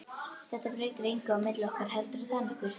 Þetta breytir engu á milli okkar, heldurðu það nokkuð?